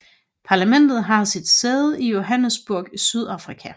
Parlamentet har sit sæde i Johannesburg i Sydafrika